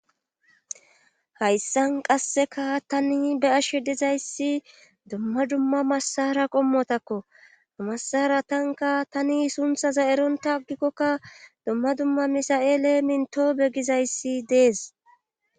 hayssan qasseka tani be ashe dizayssi dumma dumma massara qommotakko amassara tanka tani sunthaza eronta agikkokka dumma dumma misa7eele minto be gizayssi dees